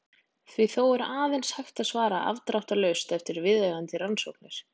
Því er þó aðeins hægt að svara afdráttarlaust eftir viðeigandi rannsóknir.